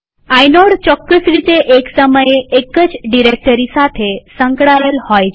inode ચોક્કસ રીતે એક સમયે એક જ ડિરેક્ટરી સાથે સંકળાયેલ હોય છે